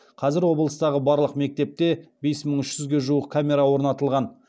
қазір облыстағы барлық мектепте бес мың үш жүзге жуық камера орнатылған